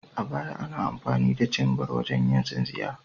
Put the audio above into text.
A baya, ana amfani da cimbar wajen yin tsinsinya.